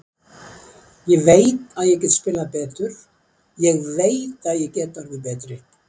Ég veit að ég get spilað betur, ég veit að ég get orðið betri.